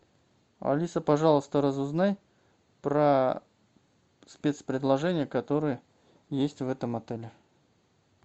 алиса пожалуйста разузнай про спец предложения которые есть в этом отеле